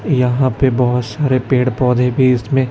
यहां पे बहोत सारे पेड़ पौधे भी इसमें--